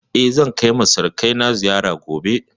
Eh, zan kai ma surukai na ziyara gobe